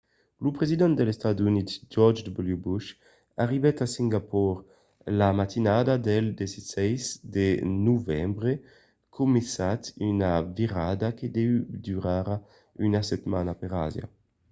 lo president dels estats units george w. bush arribèt a singapor la matinada del 16 de novembre començant una virada que deu durar una setmana per asia